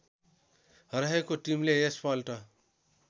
रहेको टिमले यसपल्ट